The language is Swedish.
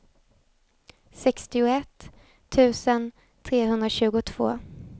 sextioett tusen trehundratjugotvå